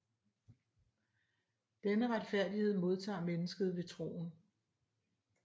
Denne retfærdighed modtager mennesket ved troen